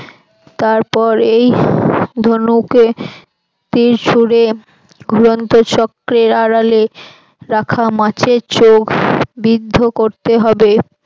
তারপর এই ধনুকে তীর ছুড়ে চক্রের আড়ালে মাছের চোখ বিদ্ধ করতে হবে